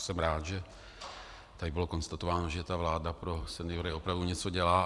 Jsem rád, že tady bylo konstatováno, že ta vláda pro seniory opravdu něco dělá.